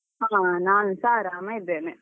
ಹಾ ನಾನುಸ ಆರಾಮ ಇದ್ದೇನೆ.